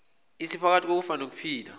esephakathi kokufa nokuphila